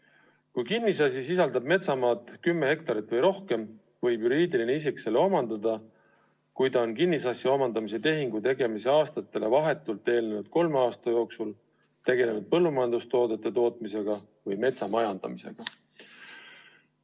Ja kui kinnisasi sisaldab metsamaad kümme hektarit või rohkem, võib juriidiline isik selle omandada siis, kui ta on kinnisasja omandamise tehingu tegemise aastatele vahetult eelnenud kolme aasta jooksul tegelenud põllumajandustoodete tootmise või metsa majandamisega.